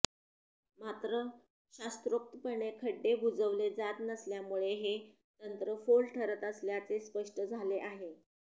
मात्र शास्त्रोक्तपणे खड्डे बुजवले जात नसल्यामुळे हे तंत्र फोल ठरत असल्याचे स्पष्ट झाले आहे